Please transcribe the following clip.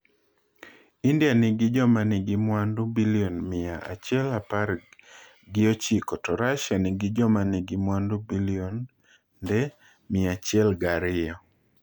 India nigi jomanigi mwandu bilionde mia achiel apar gi ochiko to Russia nigi jomanigi mwandu bilionde 102.